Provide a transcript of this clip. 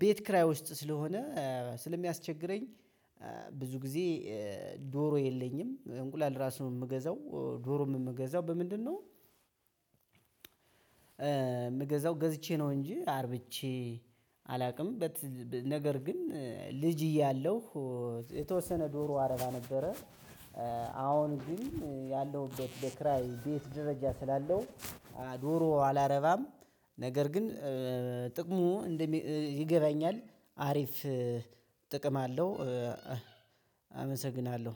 ቤት ክራይ ውስጥ ስለሆነ ስለሚያስቸግረኝ ብዙ ጊዜ ዶሮ የለኝም። እንቁላል እራሱ የምገዛው ዶሮም የምገዛው በምንድነው? የምገዛው ገዝቼ ነው እንጂ አርብቼ አላውቅም። ነገር ግን ልጅ እያለሁ የተወሰነ ዶሮ አረባ ነበረ። አሁን ግን ያለሁበት የክራይ ቤት ደረጃ ስላለው ዶሮ አላረባም። ነገር ግን ጥቅሙ ይገባኛል አሪፍ ጥቅም አለው። አመሰግናለሁ።